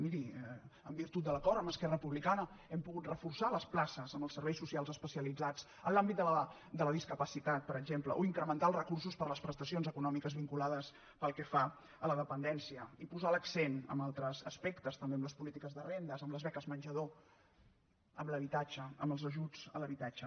miri en virtut de l’acord amb esquerra republicana hem pogut reforçar les places en els serveis socials especialitzats en l’àmbit de la discapacitat per exemple o incrementar els recursos per a les prestacions econòmiques vinculades a la dependència i posar l’accent en altres aspectes també en les polítiques de rendes en les beques menjador en l’habitatge en els ajuts a l’habitatge